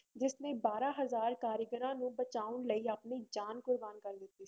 ਜਿਸਨੇ ਬਾਰਾਂ ਹਜ਼ਾਰ ਕਾਰੀਗਰਾਂ ਨੂੰ ਬਚਾਉਣ ਲਈ ਆਪਣੀ ਜਾਨ ਕੁਰਬਾਨ ਕਰ ਦਿੱਤੀ ਸੀ।